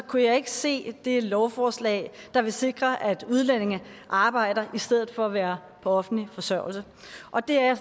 kunne jeg ikke se det lovforslag der vil sikre at udlændinge arbejder i stedet for at være på offentlig forsørgelse og det er jeg